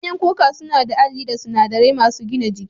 Ganyen kuka suna da Alli da sunadarai masun gina jiki.